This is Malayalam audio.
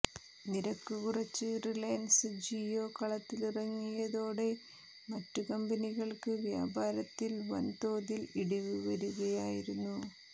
നിരക്ക് കുറച്ച് റിലയൻസ് ജിയോ കളത്തിലിറങ്ങിയതോടെ മറ്റ് കമ്പനികൾക്ക് വ്യാപാരത്തിൽ വൻ തോതിൽ ഇടിവ് വരുകയായിരുന്നു